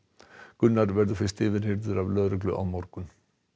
Gunnar verður fyrst yfirheyrður af lögreglu á morgun